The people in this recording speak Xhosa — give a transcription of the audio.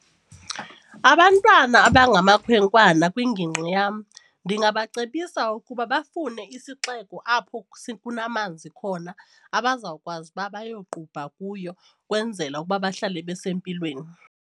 Abantwana abangamakhwenkwana kwingingqi yam ndingabacebisa ukuba bafune isixeko apho kunamanzi khona abazawukwazi uba beyoqubha kuyo ukwenzela ukuba bahlale besempilweni.